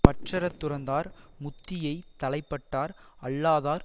பற்றற துறந்தார் முத்தியைத் தலைப்பட்டார் அல்லாதார்